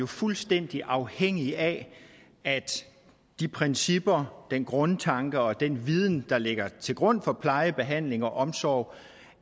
fuldstændig afhængig af at de principper den grundtanke og den viden der ligger til grund for pleje behandling og omsorg